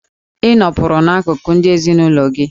Ị nọpụrụ n'akụkụ ndị ezinụlọ gị!